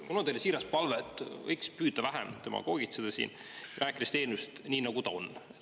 Mul on teile siiras palve: võiks püüda vähem demagoogitseda siin, rääkides asjadest nii, nagu need on.